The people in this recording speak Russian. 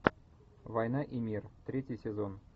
война и мир третий сезон